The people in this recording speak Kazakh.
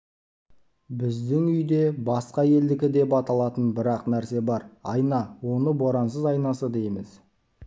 біздің үйде басқа елдікі деп аталатын бір-ақ нәрсе бар айна оны борансыз айнасы дейміз